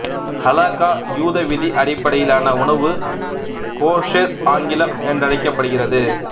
ஹலக்கா யூத விதி அடிப்படையிலான உணவு கோஷெர் ஆங்கிலம் என்றழைக்கப்படுகிறது